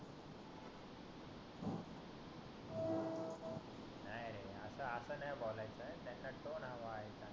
नाही आता अस नाही बोलायच त्याचा तोंड हवा आहे का